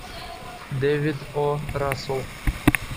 дэвид о расселл